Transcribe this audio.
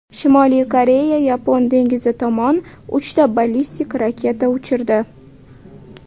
Shimoliy Koreya Yapon dengizi tomon uchta ballistik raketa uchirdi.